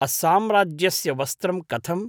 अस्साम्राज्यस्य वस्त्रं कथम्?